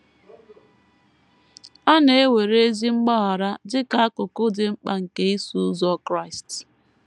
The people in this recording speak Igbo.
A na - ewere ezi mgbaghara dị ka akụkụ dị mkpa nke Iso Ụzọ Kraịst.